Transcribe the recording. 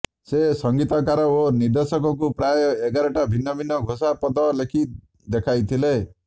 ସେ ସଙ୍ଗୀତକାର ଓ ନିର୍ଦ୍ଦେଶକଙ୍କୁ ପ୍ରାୟ ଏଗାରଟା ଭିନ୍ନ ଭିନ୍ନ ଘୋଷା ପଦ ଲେଖି ଦେଖାଇଥିଲେ